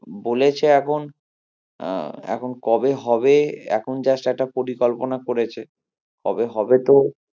বলেছে এখন আহ এখন কবে হবে এখন just একটা পরিকল্পনা করেছে কবে হবে তো